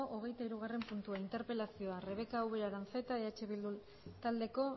hogeitahirugarren puntua interpelazioa rebeka ubera aranzeta eh bildu taldeko